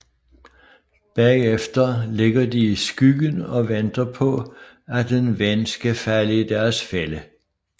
Bagefter ligger de i skyggen og venter på at en ven skal falde i deres fælde